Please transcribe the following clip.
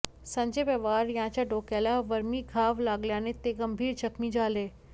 संजय पवार यांच्या डोक्याला वर्मी घाव लागल्याने ते गंभीर जखमी झाले